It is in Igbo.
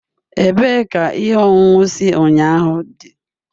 Ebee ka ihe ọṅụṅụ si ụnyahụ dị?